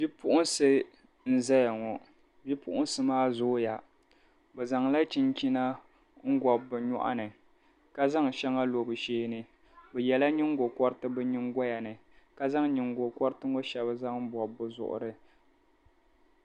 Bipuɣinsi n-zaya ŋɔ bipuɣinsi maa zooya bɛ zaŋla chinchina n-gɔbi bɛ nyɔɣu ni ka zaŋ shɛŋa lo bɛ shee ni bɛ shɛla nyiŋgokɔriti bɛ nyiŋgoya ni ka zaŋ nyiŋgokɔriti ŋɔ shɛli zaŋ bɔbi bɛ zuɣiri.